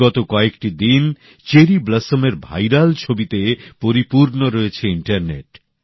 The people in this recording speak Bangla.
বিগত কয়েকটি দিন চেরি ব্লসমের ভাইরাল ছবিতে পরিপূর্ণ রয়েছে ইন্টারনেট